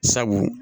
Sabu